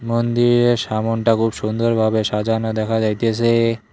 মন্দিরের সামোনটা খুব সুন্দরভাবে সাজানো দেখা যাইতেসে।